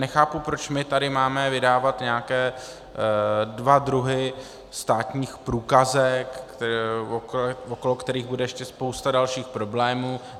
Nechápu, proč my tady máme vydávat nějaké dva druhy státních průkazek, okolo kterých bude ještě spousta dalších problémů.